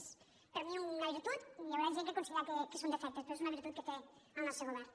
és per mi una virtut i hi haurà gent que considerarà que són defectes però és una vir·tut que té el nostre govern